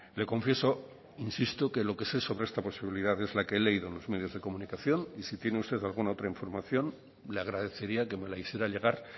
le confieso insisto que lo que sé sobre esta posibilidad es la que he leído en los medios de comunicación y si tiene usted alguna otra información le agradecería que me la hiciera llegar